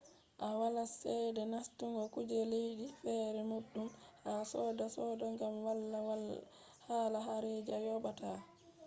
to wala chede nastungo kuje leddi fere boddum ha soode soode gam walaa hala harajii a yoobataa